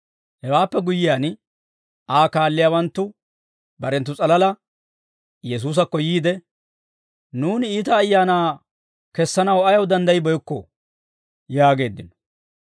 Hewaappe guyyiyaan, Aa kaalliyaawanttu barenttu s'alala Yesuusakko yiide, «Nuuni iita ayaana kessanaw ayaw danddayibeykkoo?» yaageeddino.